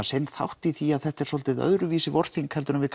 sinn þátt í því að þetta er svolítið öðruvísi vorþing heldur en við